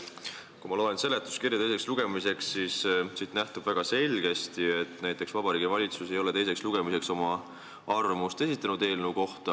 Kui ma loen seletuskirja teiseks lugemiseks, siis siit nähtub väga selgesti, et näiteks Vabariigi Valitsus ei ole eelnõu kohta teiseks lugemiseks oma arvamust esitanud.